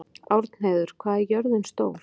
Árnheiður, hvað er jörðin stór?